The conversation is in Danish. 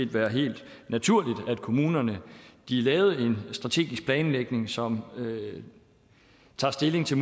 være helt naturligt at kommunerne lavede en strategisk planlægning som tager stilling til